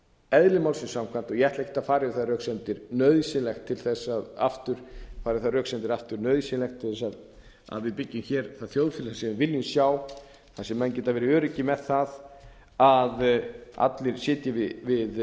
eðli málsins samkvæmt og ég ætla ekkert að færa yfir þær röksemdir aftur nauðsynlegt til þess að við byggjum hér það þjóðfélag sem við viljum sjá þar sem menn geta veri öruggir með það að allir sitji við